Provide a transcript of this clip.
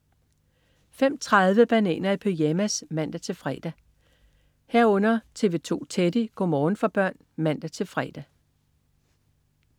05.30 Bananer i pyjamas (man-fre) 05.30 TV 2 Teddy. Go' morgen for børn (man-fre)